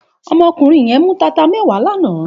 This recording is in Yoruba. Òmò òkúnrín yèn mú tátá mèwá làná